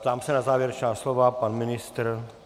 Ptám se na závěrečná slova - pan ministr?